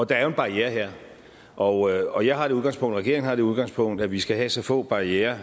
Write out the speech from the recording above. der er jo en barriere her og jeg og jeg har det udgangspunkt og regeringen har det udgangspunkt at vi skal have så få barrierer